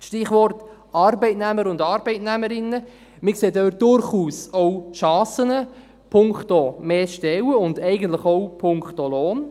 Stichwort Arbeitnehmer und Arbeitnehmerinnen: Wir sehen dort durchaus auch Chancen punkto mehr Stellen und eigentlich auch punkto Lohn.